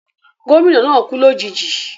Gómìnà náà kú lòjijì